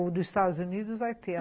O dos Estados Unidos vai ter.